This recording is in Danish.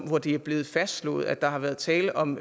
hvor det er blevet fastslået at der har været tale om